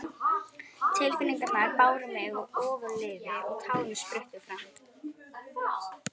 Tilfinningarnar báru mig ofurliði og tárin spruttu fram.